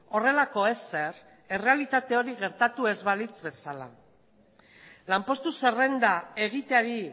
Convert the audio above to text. horrelako ezer errealitate hori gertatu ez balitz bezala lanpostu zerrenda egiteari